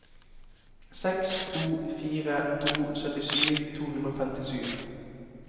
seks to fire to syttisju to hundre og femtisju